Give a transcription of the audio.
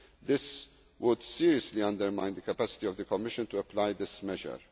financial assistance. This would seriously undermine the capacity of the Commission to